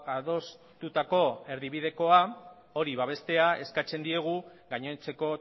adostutako erdibidekoa hori babestea eskatzen diegu gainontzeko